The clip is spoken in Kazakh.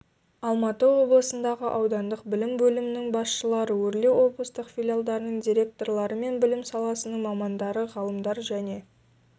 алматы облысындағы аудандық білім бөлімінің басшылары өрлеуоблыстық филиалдарының директорлары мен білім саласының мамандары ғалымдар және